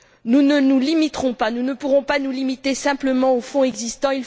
Nous ne nous limiterons pas, nous ne pourrons pas nous limiter simplement aux fonds existants.